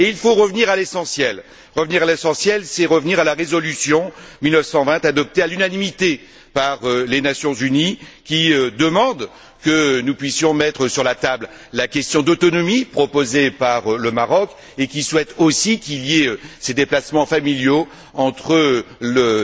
Il faut revenir à l'essentiel. Revenir à l'essentiel, c'est revenir à la résolution n° 1920, adoptée à l'unanimité par les Nations unies, qui demande que nous puissions mettre sur la table la question de l'autonomie proposée par le Maroc et qui souhaite aussi qu'il y ait ces déplacements familiaux entre le